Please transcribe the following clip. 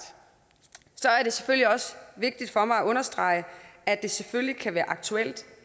er det selvfølgelig også vigtigt for mig at understrege at det selvfølgelig kan være aktuelt